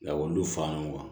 Lakɔlidenw fa ninnu kan